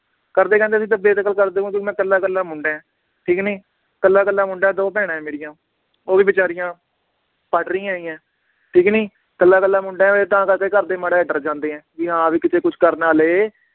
ਘਰਦੇ ਕਹਿੰਦੇ ਵੀ ਅਸੀਂ ਤਾਂ ਬੇਦਖਲ ਮੈਂ ਇਕੱਲਾ ਇਕੱਲਾ ਮੁੰਡਾ ਏ, ਠੀਕ ਨੀ ਇਕੱਲਾ ਇਕੱਲਾ ਮੁੰਡਾ ਏ ਦੋ ਭੈਣਾਂ ਏ ਮੇਰੀਆਂ ਉਹ ਵੀ ਬੇਚਾਰੀਆਂ ਪੜ੍ਹ ਰਹੀਆਂ ਹੈਗੀਆਂ, ਠੀਕ ਨੀ ਇਕੱਲਾ ਇਕੱਲਾ ਮੁੰਡਾ ਏ ਤਾਂ ਕਰਕੇ ਘਰਦੇ ਮਾੜਾ ਜੇਹਾ ਡਰ ਜਾਂਦੇ ਏ ਵੀ ਹਾਂ ਵੀ ਕਿਤੇ ਕੁਛ ਕਰ ਨਾ ਲਏ